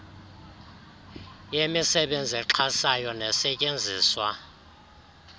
yemisebenzi exhasayo nesetyenziswa